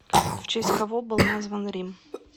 в честь кого был назван рим